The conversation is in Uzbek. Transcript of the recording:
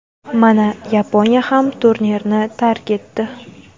Mana Yaponiya ham turnirni tark etdi.